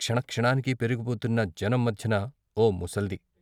క్షణ క్షణానికి పెరిగిపోతున్న జనం మధ్యన ఓ ముసల్ది.